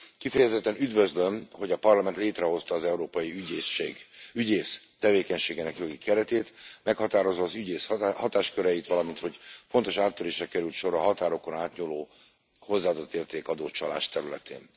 Kifejezetten üdvözlöm, hogy a Parlament létrehozta az Európai Ügyészség, ügyész tevékenységének jogi keretét, meghatározza az ügyész hatásköreit, valamint hogy fontos áttörésre került sor a határokon átnyúló hozzáadottértékadó csalás területén.